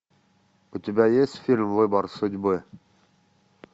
у тебя есть фильм выбор судьбы